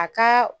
A ka